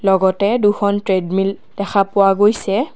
লগতে দুখন ট্ৰেডমিল দেখা পোৱা গৈছে।